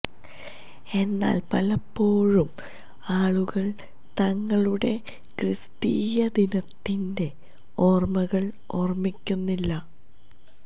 എന്നാൽ പലപ്പോഴും ആളുകൾ തങ്ങളുടെ ക്രിസ്തീയ ദിനത്തിന്റെ ഓർമ്മകൾ ഓർമ്മിക്കുന്നില്ല